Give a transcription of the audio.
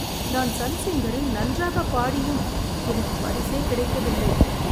நான் சன் சிங்கரில் நன்றாக பாடியும் எனக்கு பரிசே கிடைக்கவில்லை.